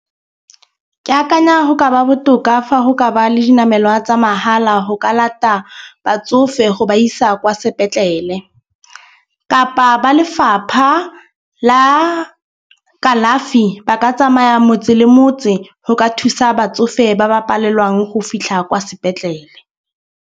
Ke akanya go ka ba botoka fa go ka ba le dinamelwa tsa mahala go ka lata batsofe go ba isa kwa sepetlele, kapa ba lefapha la kalafi ba ka tsamaya motse le motse go ka thusa batsofe ba ba palelwang go fitlha kwa sepetlele.